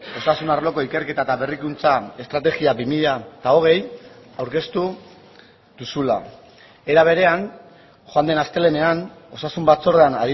osasun arloko ikerketa eta berrikuntza estrategia bi mila hogei aurkeztu duzula era berean joan den astelehenean osasun batzordean